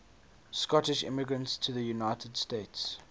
scottish immigrants to the united states